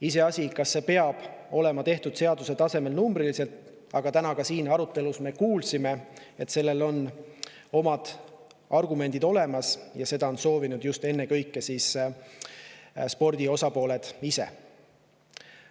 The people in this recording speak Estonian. Iseasi, kas need peavad olema numbriliselt sätestatud seaduse tasemel, aga täna ka siin arutelus me kuulsime, et selleks on omad argumendid olemas ja seda on soovinud ennekõike spordi osapooled ise.